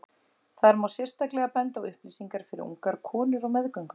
þar má sérstaklega benda á upplýsingar fyrir ungar konur á meðgöngu